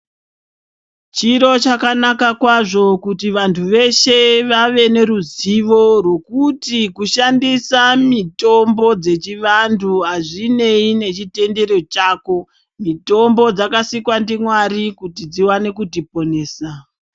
Chiro chakanaka kwazvo kuti vantu veshe vave neruzivo rekuti kushandisa mitombo yechivantu hazvinei nechitendero chako mitombo dzakasikwa ndiMwari kuti dziwane kutiponesa.